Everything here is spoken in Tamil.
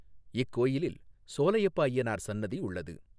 இக்கோயிலில் சோலையப்பஅய்யனார் சன்னதி உள்ளது.